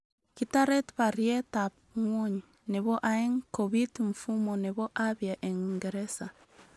Kitaret baryet ab ngwony nebo aeng kobiit mfumo nebo abya eng Uingeresa